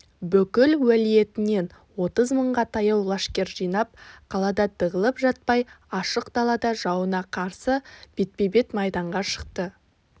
бүкіл уәлиетінен отыз мыңға таяу лашкер жинап қалада тығылып жатпай ашық далада жауына қарсы бетпе-бет майданға шықты